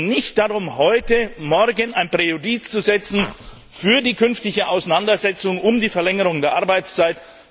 Es geht nicht darum, heute Morgen ein Präjudiz zu setzen für die künftige Auseinandersetzung um die Verlängerung der Arbeitszeit.